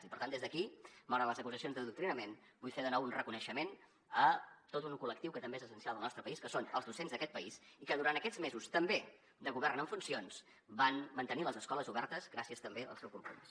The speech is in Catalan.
i per tant des d’aquí malgrat les acusacions d’adoctrinament vull fer de nou un reconeixement a tot un col·lectiu que també és essencial al nostre país que són els docents d’aquest país i que durant aquests mesos també de govern en funcions van mantenir les escoles obertes gràcies també al seu compromís